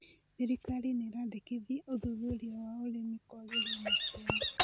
Thirikari nĩraendekithia ũthuthuria wa ũrĩmi kwagĩria maciaro